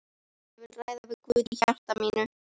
Ég vil ræða við Guð í hjarta mínu.